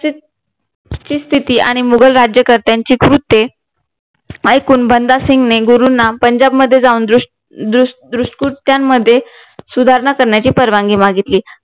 तिथली स्तिथी आणि मुघल राज्यकर्त्यांची कृत्य ऐकून भानुदास सिंघने गुरूंना पंजाब मध्ये जाऊन दृष्ट कृत्यानं मध्ये सुधारणा करण्याची परवानगी मागितली